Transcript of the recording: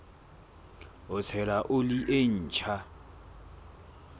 ho tshela oli e ntjha